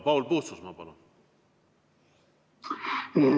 Paul Puustusmaa, palun!